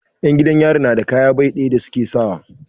'Yan gidan yari na da kaya bai ɗaya da su ke sawa.